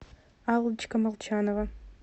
аллочка молчанова